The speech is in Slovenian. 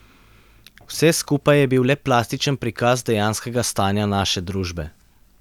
Vse skupaj je bil le plastičen prikaz dejanskega stanja naše družbe.